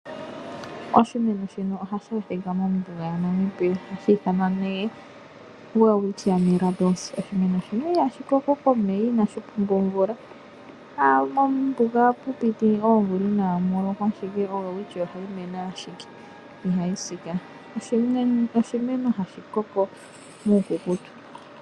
Oshimeno shino ohashi adhika mombuga yaNamibia, ohashi ithanwa nee Welwitchia Mirrabilis. Oshimeno shino ihashi koko komeya, inashi pumbwa omvula, aawe. Mombuga ohapu piti oomvula inamu lokwa ashike oWelwitchia ohayi mene ashike, ihayi si kaa. Oshimeno hashi koko muukukutu.